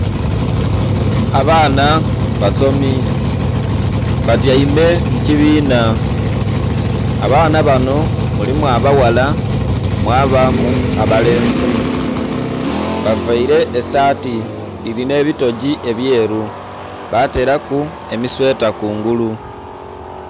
Abaana basomi batyaime mu kibinha, abaana banhoulimu abaghala mwabamu abalenzi bavaire esaati dhilina ebitogii ebyeru batelaku emisweta kungulu.